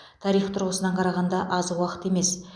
тарих тұрғысынан қарағанда аз уақыт емес